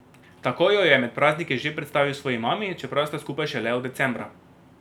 Tako jo je med prazniki že predstavil svoji mami, čeprav sta skupaj šele od decembra.